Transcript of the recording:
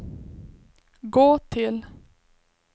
gå till